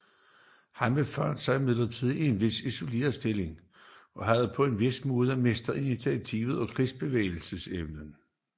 Han befandt sig imidlertid i en vis isoleret stilling og havde på en vis måde mistet initiativet i krigsbevægelserne